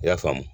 I y'a faamu